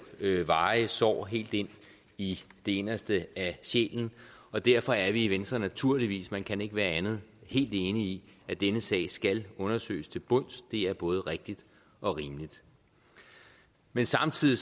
varige sår helt ind i det inderste af sjælen og derfor er vi i venstre naturligvis man kan ikke være andet helt enige i at denne sag skal undersøges til bunds det er både rigtigt og rimeligt men samtidig